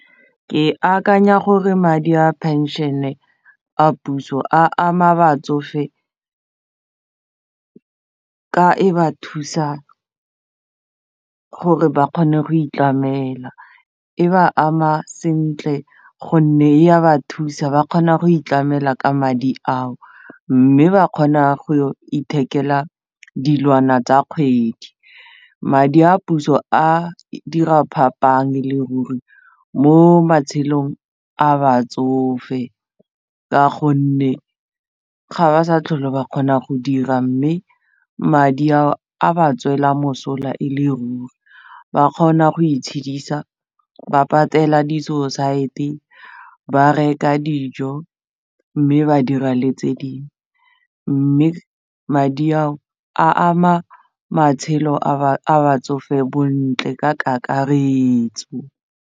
Ke akanya gore madi a phenšene a puso a ama batsofe ka e ba thusa gore ba kgone go itlamela e ba ama sentle gonne e a ba thusa ba kgona go itlamela ka madi ao mme ba kgona go ithekela dilwana tsa kgwedi madi, puso a dira phapang e le ruri mo matshelong a batsofe ka gonne ga ba sa tlhole ba kgona go dira mme madi a a ba tswela mosola e le ruri ba kgona go itshedisa ba patela di-society ba reka dijo mme ba dira le tse dingwe mme madi ao a ama matshelo a batsofe botlhe ka kakaretso.